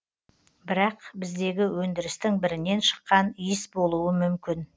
бірақ біздегі өндірістің бірінен шыққан иіс болуы мүмкін